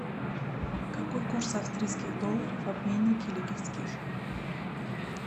какой курс австрийских долларов в обменнике лиговский